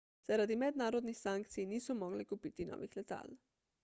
zaradi mednarodnih sankcij niso mogli kupiti novih letal